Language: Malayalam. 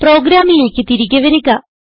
പ്രോഗ്രാമിലേക്ക് തിരികെ വരിക